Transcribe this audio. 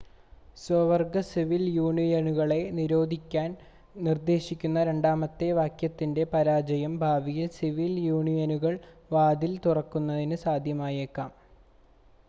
സ്വവർഗ സിവിൽ യൂണിയനുകളെ നിരോധിക്കാൻ നിർദ്ദേശിക്കുന്ന രണ്ടാമത്തെ വാക്യത്തിൻ്റെ പരാജയം ഭാവിയിൽ സിവിൽ യൂണിയനുകൾക്ക് വാതിൽ തുറക്കുന്നതിന് സാധ്യമായേക്കാം